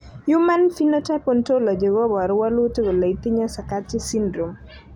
human Phenotype Ontology koporu wolutik kole itinye Sakati syndrome.